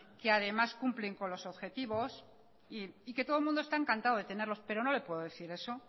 que además cumplen con los objetivos y que todo el mundo está encantado de tenerlos pero no le puedo decir eso